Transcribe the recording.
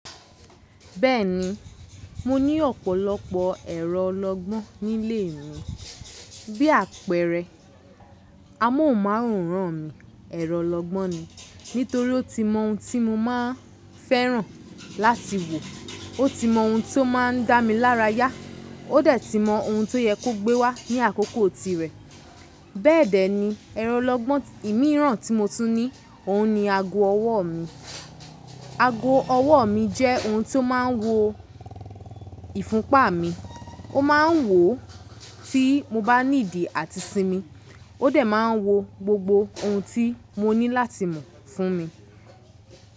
Bẹ́ẹ̀ni, mo ní ọ̀pọ̀lọpọ̀ ẹ̀rọ ọlọgbọ́n nílé mi. Bí àpẹẹrẹ, amóhùnmáwòrán mi, ẹ̀rọ ọlọgbọ́n ni. Nítorí ó ti mọ ohun tí mo máa fẹ́ràn láti wò, ó ti mọ ohun tó máa ń dá mi lára yá, ó dẹ̀ ti mọ ohun tó yẹ kó gbé wá ní àkókò tirẹ̀. Bẹ́ẹ̀dẹ̀ ni ẹ̀rọ ọlọgbọ́n ìmíràn tí mo tún ní, òun ni ago ọwọ́ mi. Ago ọwọ́ mi jẹ́ ohun tí ó máa ń wo ìfúnpa mi, mó máa ń wò tí mo bá nídì àti sinmi, ó dẹ̀ máa ń wo gbogbo ohun tí mo ní láti mọ̀ fún mi.